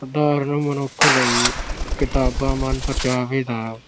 ਸਧਾਰਨ ਮਨੁੱਖ ਲਈ ਕਿਤਾਬਾਂ ਮਨ-ਪਰਚਾਵੇਂ ਦਾ